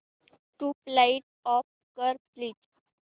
tubelight off कर please